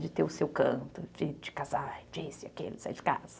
De ter o seu canto, de casar, disso e aquilo, sair de casa.